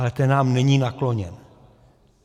Ale ten nám není nakloněn.